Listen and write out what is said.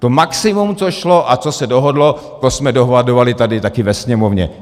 To maximum, co šlo a co se dohodlo, to jsme dohadovali taky tady ve Sněmovně.